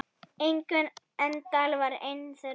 Ingunn Eydal var ein þeirra.